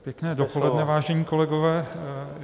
Pěkné dopoledne, vážení kolegové.